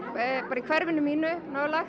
í hverfinu mínu